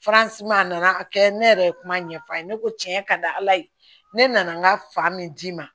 a nana a kɛ ne yɛrɛ ye kuma ɲɛfɔ a ye ne ko tiɲɛ ka di ala ye ne nana n ka fa min d'i ma